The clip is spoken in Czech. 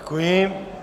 Děkuji.